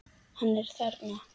Hann er þarna!